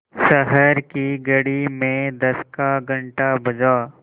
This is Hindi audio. शहर की घड़ी में दस का घण्टा बजा